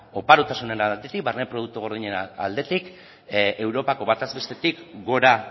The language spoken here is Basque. oparotasunaren aldetik barne produktu gordinaren aldetik europako bataz bestetik gora